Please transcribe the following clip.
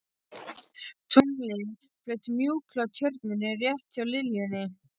Tunglið flaut mjúklega á Tjörninni rétt hjá liljunni.